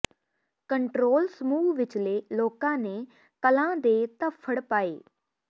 control ਸਮੂਹ ਵਿਚਲੇ ਲੋਕਾਂ ਨੇ ਕਲਾਂ ਦੇ ਧੱਫੜ ਪਾਏ